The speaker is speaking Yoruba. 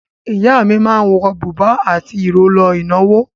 Ìyá mi máa ń wọ bùbá àti ìró lọ ìnáwó.